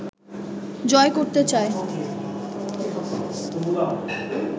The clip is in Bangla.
জয় করতে চায়